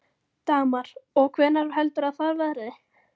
Dagmar: Og hvenær heldurðu að það verði?